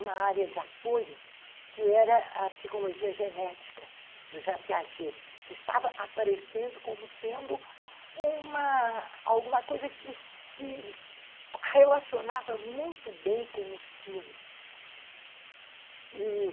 uma área de apoio que era a psicologia genética do Jean Piaget, que estava aparecendo como sendo uma... alguma coisa que se relacionava muito bem com o ensino.